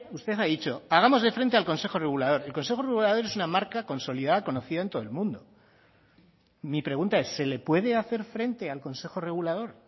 usted ha dicho hagámosle frente al consejo regulador el consejo regulador es una marca consolida conocida en todo el mundo mi pregunta es se le puede hacer frente al consejo regulador